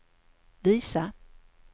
visa